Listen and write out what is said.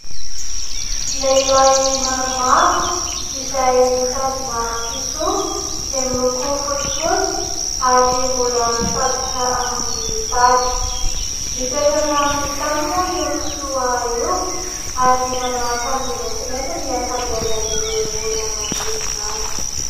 Lehilahy maromaro izay mitazona kisoa izay miloko fotsifotsy ary mbola mifatotra aminy tady. Mipetraka aminy tany moa io kisoa io ary manao akanjo maintimainty ny ankabeazan'ireo olona manodidina azy.